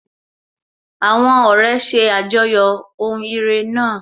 Àwọn ọ̀rẹ́ ṣe àjọyọ̀ ohun ire náà.